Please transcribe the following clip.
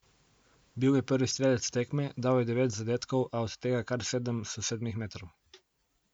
Bil je prvi strelec tekme, dal je devet zadetkov, a od tega kar sedem s sedmih metrov.